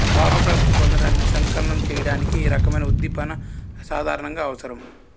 భావప్రాప్తి పొందడానికి స్ఖలనం చెయ్యడానికి ఈ రకమైన ఉద్దీపన సాధారణంగా అవసరం